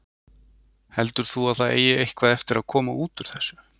Heldur þú að það eigi eitthvað eftir að koma út úr þessu?